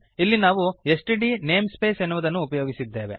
ಇಲ್ಲಿ ನಾವು STD namespace ಎನ್ನುವುದನ್ನು ಉಪಯೋಗಿಸಿದ್ದೇವೆ